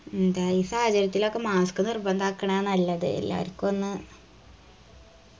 എന്തായും ഈ സാഹചര്യത്തിലൊക്കെ mask നിർബന്തക്കലാ നല്ലത് എല്ലാവർക്കു ഒന്ന്